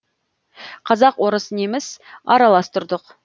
қазақ орыс неміс аралас тұрдық